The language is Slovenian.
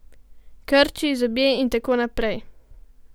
Krči, zobje in tako naprej.